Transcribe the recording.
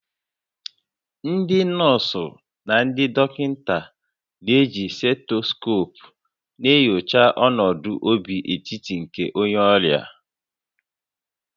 Ndị nọọsụ na ndị dọkịta na-eji stetoskoopu na-enyocha ọnụọgụ obi otiti nke onye ọrịa